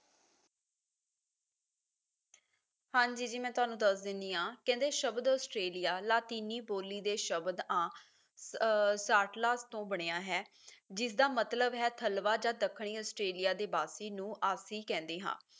ਹਾਂਜੀ ਜੀ ਮੈਂ ਤੁਹਾਨੂੰ ਦੱਸ ਦੇਣੀ ਆ ਕਹਿੰਦੇ ਸ਼ਬਦ ਆਸਟ੍ਰੇਲੀਆ ਲਾਤੀਨੀ ਬੋਲੀ ਦੇ ਸ਼ਬਦ ਆਂ ਅਹ ਸਾਟਲਾ ਤੋਂ ਬਣਿਆ ਹੈ ਜਿਸਦਾ ਮਤਲਬ ਹੈ ਥਲਵਾ ਜਾਂ ਦੱਖਣੀ ਆਸਟ੍ਰੇਲੀਆ ਦੇ ਵਾਸੀ ਨੂੰ ਆਸੀ ਕਹਿੰਦੇ ਹਾਂ